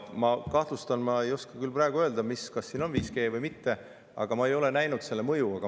Ma ei oska küll praegu öelda, kas siin on 5G või mitte, aga ma ei ole näinud selle mõju.